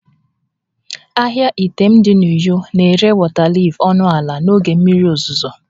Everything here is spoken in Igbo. Ahịa Itam dị na uyo na-ere wọta liif ọnụ ala n'oge mmiri ozuzo